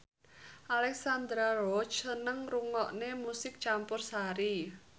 Alexandra Roach seneng ngrungokne musik campursari